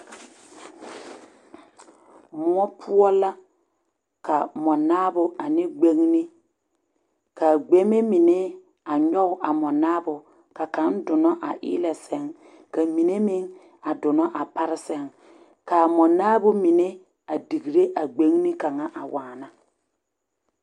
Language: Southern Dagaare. Moɔpoɔ la ka moɔ naabo ane gbeŋne kaa gbeŋme mine a nyɔge a mɔnaabo ka kaŋa donɔ a eelɛsɛŋ ka mine meŋ a donɔ a pare sɛŋ kaa moɔnaabo mine a degree a gbeŋne kaŋa a waana.